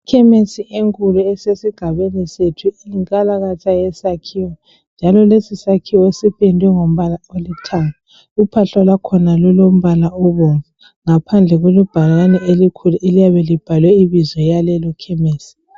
Ikhemisi enkulu esesigabeni sethu yinkalakatha yesakhiwo njalo lesisakhiwo sipendwe ngombala olithanga ,uphahla lwakhona lulombala obomvu ngaphandle kulebhakane elikhulu eliyabe libhalwe ibizo yalelo khemisi.